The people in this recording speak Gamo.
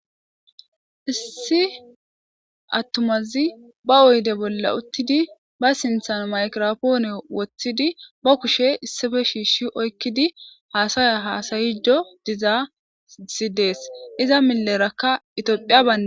Issi attumazi ba oyde bolla uttidi ba sinthan mikrafoone wothidi ba kushe issipe shiishi oykkidi haasaya haasayiddo dizayssi dees. Iza millerakka itophiya ban